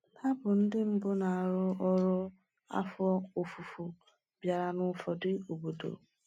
Hà bụ ndị mbụ na-arụ ọrụ afọ ofufo bịara n’ụfọdụ obodo.